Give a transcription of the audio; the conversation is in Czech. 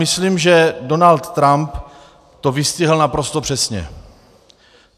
Myslím, že Donald Trump to vystihl naprosto přesně.